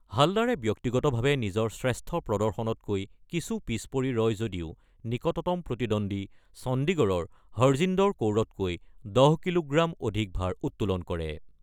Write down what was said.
হালদাৰে ব্যক্তিগতভাৱে নিজৰ শ্ৰেষ্ঠ প্ৰদৰ্শনতকৈ কিছু পিছ পৰি ৰয় যদিও নিকটতম প্ৰতিদ্বন্দ্বী চণ্ডীগড়ৰ হৰজিন্দৰ কৌৰতকৈ ১০ কিলোগ্ৰাম অধিক ভাৰ উত্তোলন কৰে।